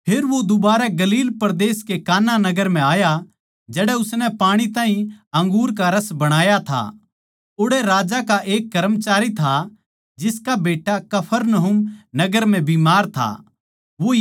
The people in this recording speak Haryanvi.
फेर वो दुबारै गलील परदेस कै काना नगर म्ह आया जड़ै उसनै पाणी ताहीं अंगूर का रस बणाया था ओड़ै राजा का एक कर्मचारी था जिसका बेट्टा कफरनहूम नगर म्ह बीमार था